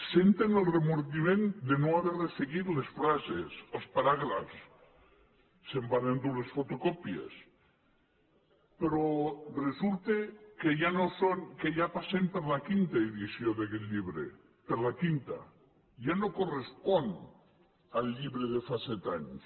senten el remordiment de no haver resseguit les frases els paràgrafs se’n van endur les fotocòpies però resulta que ja passem per la quinta edició d’aquest llibre per la quinta ja no correspon al llibre de fa set anys